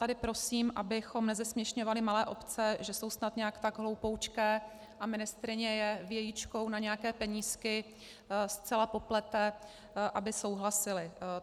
Tady prosím, abychom nezesměšňovali malé obce, že jsou snad nějak tak hloupoučké a ministryně je vějičkou na nějaké penízky zcela poplete, aby souhlasily.